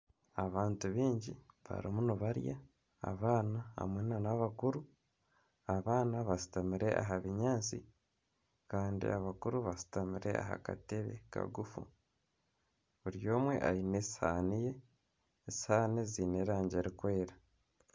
Abantu baingi barimu nibarya. Abaana hamwe nana abakuru. Abaana bashutamire aha binyaatsi kandi abakuru bashutamire aha katebe kagufu. Buri omwe aine esuhani ye . Esuhani ziine erangi erikweera.